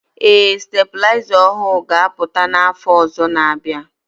Ee STABỤLỊZA ỌHỤỤ GA APỤTA NA AFỌ ỌZỌ NA- ABỊA